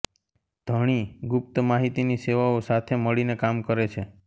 ધણી ગુપ્ત માહિતીની સેવાઓ સાથે મળીને કામ કરે છે